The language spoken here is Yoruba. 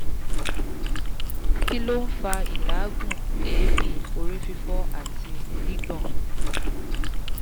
kí ló ń fa ìlaagun eebi orí fifo àti gbigbon?